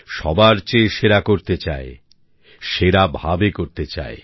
সবার চেয়ে সেরা করতে চায় সেরা ভাবে করতে চায়